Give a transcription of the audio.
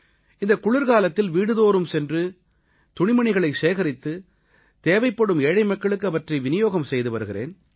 இந்தக் குளிர்காலத்தில் வீடுதோறும் சென்று துணிமணிகளைச் சேகரித்து தேவைப்படும் ஏழைமக்களுக்கு அவற்றை விநியோகம் செய்து வருகிறேன்